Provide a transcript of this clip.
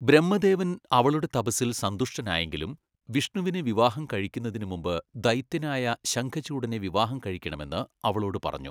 ബ്രഹ്മദേവൻ അവളുടെ തപസ്സിൽ സന്തുഷ്ടനായെങ്കിലും വിഷ്ണുവിനെ വിവാഹം കഴിക്കുന്നതിന് മുമ്പ് ദൈത്യനായ ശംഖചൂഡനെ വിവാഹം കഴിക്കണമെന്ന് അവളോട് പറഞ്ഞു.